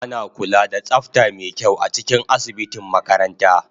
Ana kula da tsafta mai kyau a cikin asibitin makaranta